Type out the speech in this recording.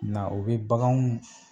Na o be baganw